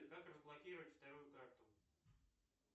как разблокировать вторую карту